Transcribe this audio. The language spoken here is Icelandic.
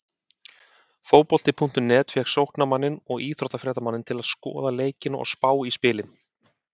Fótbolti.net fékk sóknarmanninn og íþróttafréttamanninn til að skoða leikina og spá í spilin.